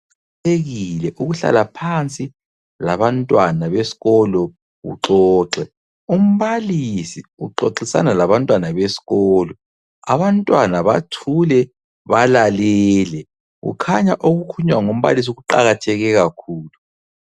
Kuqathekile ukuhlala phansi labantwana besikolo uxoxe. Umbalisi uxoxisana labantwana besikolo, abantwana bathule balalele, kukhanya okukhulunywa ngumbalisi kuqakatheke kakhulu.